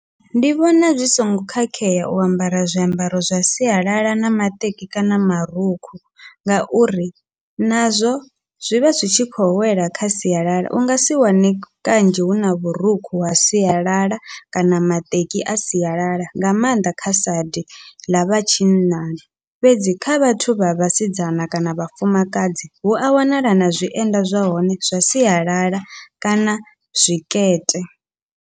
Ndi vhona zwi songo khakhea u ambara zwiambaro zwa sialala na maṱeki kana marukhu, ngauri nazwo zwivha zwi tshi khou wela kha sialala ungasi wane kanzhi huna vhurukhu ha sialala kana maṱeki a sialala nga maanḓa kha saidi ḽavha tshinnani, fhedzi kha vhathu vha vhasidzana kana vhafumakadzi hua wanala na zwienda zwa hone zwa sialala kana zwikete.